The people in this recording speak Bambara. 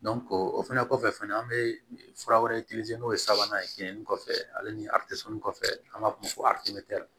o fɛnɛ kɔfɛ fɛnɛ an bɛ fura wɛrɛ n'o ye sabanan ye kinni kɔfɛ ale ni a kɔfɛ n'an b'a f'o ma ko